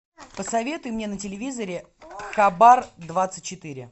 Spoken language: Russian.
посоветуй мне на телевизоре хабар двадцать четыре